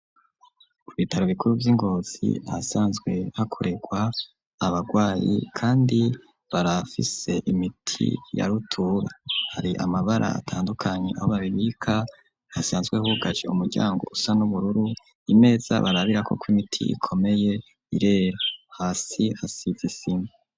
Ku bitaro bikuru vy'ingozi ahasanzwe hakorerwa abagwayi, kandi barafise imiti ya rutura, hari amabara atandukanye aho babibika hasanzwe hugaje umuryango usa n'ubururu, imeza barabirako ko imiti ikomeye irera, hasi hasize isima.